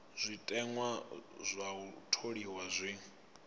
zwiteṅwa zwa u tholiwa zwi